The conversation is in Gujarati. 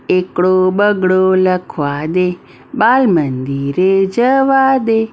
એકડો બગડો લખવા દે બાલ મંદિરે જવા દે.